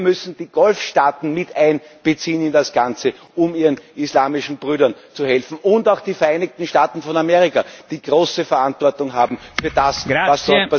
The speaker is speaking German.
Wir müssen die Golfstaaten mit einbeziehen in das Ganze, um ihren islamischen Brüdern zu helfen. Und auch die Vereinigten Staaten von Amerika, die große Verantwortung tragen, für das, was dort passiert ist.